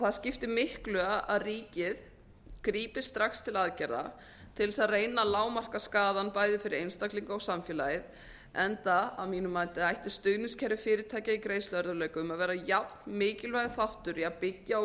það skiptir miklu að ríkið grípi strax til aðgerða til þess að reyna að lágmarka skaðann bæði fyrir einstaklinga og samfélagið enda að mínu mati ætti stuðningskerfi fyrirtækja í greiðsluerfiðleikum að vera jafn mikilvægur þáttur í að byggja og